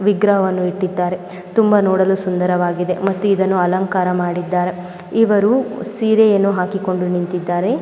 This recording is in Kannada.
ವಿಗ್ರಹವನ್ನು ಇಟ್ಟಿದ್ದಾರೆ ತುಂಬಾ ನೋಡಲು .ಸುಂದರವಾಗಿದೆ ಮತ್ತು ಇದನ್ನು ಅಲಂಕಾರ ಮಾಡಿದ್ದ್ದಾರೆ ಇವರು ಸೀರೆಯನ್ನು ಹಾಕಿಕೊಂಡು ನಿಂತಿದ್ದಾರೆ .